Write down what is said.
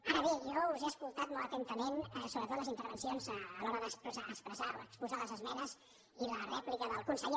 ara bé jo us he escoltat molt atentament sobretot les intervencions a l’hora d’expressar o exposar les esmenes i la rèplica del conseller